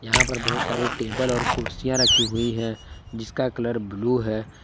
यहां पर बहुत सारी टेबल और कुर्सियां रखी हुई है जिसका कलर ब्लू है।